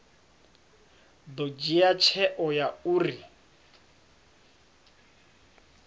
ḓo dzhia tsheo ya uri